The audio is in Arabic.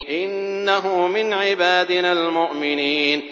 إِنَّهُ مِنْ عِبَادِنَا الْمُؤْمِنِينَ